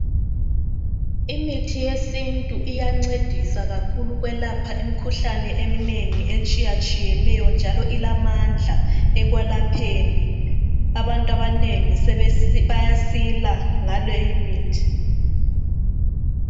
Imithi yesintu iyancedisa kakhulu ukwelapha imikhuhlane eminengi etshiyatshiyeneyo njalo ilamandla ekwelapheni abantu abanengi bayasila ngaleyi mithi